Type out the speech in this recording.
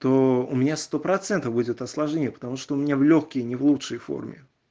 то у меня сто процентов будет осложнение потому что у меня в лёгкие не в лучшей форме